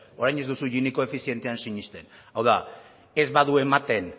orain ez duzu gini koefizientean sinesten hau da ez badu ematen